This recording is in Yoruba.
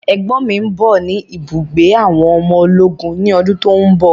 Ẹ̀gbọ́n mi ń bọ̀ ni ibùgbé àwọn ọmọ ológun ni ọdún tòun bọ̀.